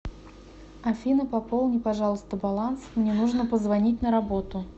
афина пополни пожалуйста баланс мне нужно позвонить на работу